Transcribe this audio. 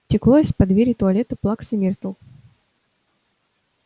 текло из-под двери туалета плаксы миртл